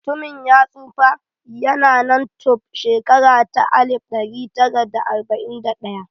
Mutumin ya tsufa, ya na nan tun shekara ta alif ɗari tara da arba'in da ɗaya